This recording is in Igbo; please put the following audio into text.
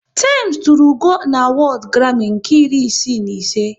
Tems tụrụ ugo n'awodu Grami nke iri isii na ise